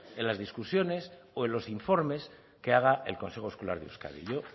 en las discusiones o en los informes que haga el consejo escolar de euskadi yo